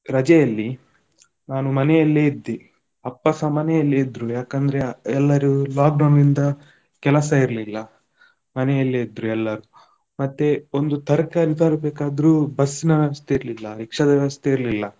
ರಜೆಯಲ್ಲಿ ನಾನು ಮನೆಯಲ್ಲೇ ಇದ್ದೇ ಅಪ್ಪಸ ಮನೆಯಲ್ಲೇ ಇದ್ರು ಯಾಕಂದ್ರೆ ಎಲ್ಲರೂ lockdown ನಿಂದ ಕೆಲಸ ಇರ್ಲಿಲ್ಲ, ಮನೆಯಲ್ಲೇ ಇದ್ರು ಎಲ್ಲರೂ. ಮತ್ತೆ ಒಂದು ತರ್ಕಾರಿ ತರ್ಬೇಕಾದ್ರೂ bus ನ ವ್ಯವಸ್ಥೆ ಇರ್ಲಿಲ್ಲ, ರಿಕ್ಷದ ವ್ಯವಸ್ಥೆ ಇರ್ಲಿಲ್ಲ.